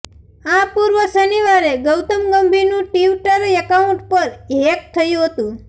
આ પૂર્વ શનિવારે ગૌતમ ગંભીરનું ટિવટર એકાઉન્ટ પણ હેક થયું હતું